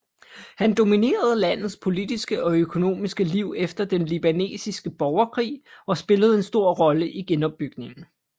Han dominerede landets politiske og økonomiske liv efter den libanesiske borgerkrig og spillede en stor rolle i genopbygningen